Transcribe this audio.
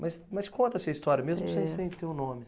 Mas, mas conta essa história mesmo sem sem ter o nome.